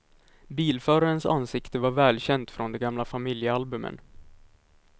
Bilförarens ansikte var välkänt från de gamla familjealbumen.